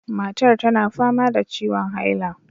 Matar tana fama da ciwon haila.